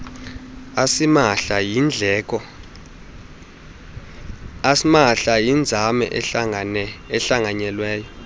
asimahla yinzame ehlanganyelweyo